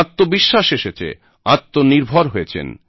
আত্মবিশ্বাস এসেছে আত্মনির্ভর হয়েছেন